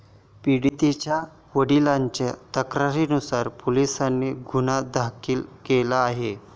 पीडितांच्या वडिलांच्या तक्रारीनुसार पोलिसांनी गुन्हा दाखल केला आहे.